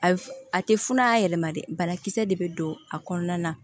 A f a tɛ funu a yɛlɛma dɛ banakisɛ de be don a kɔnɔna na